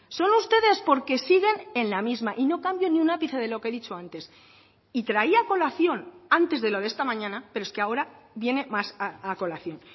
son ustedes porque siguen en la misma y no cambio ni un ápice de lo que he dicho antes y traía a colación antes de lo de esta mañana pero es que ahora viene más a colación